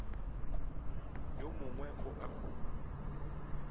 yo mngwe o a go